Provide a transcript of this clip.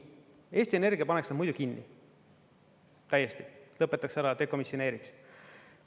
Eesti Energia paneks nad muidu kinni, täiesti, lõpetaks ära, dekomisjoneeriks.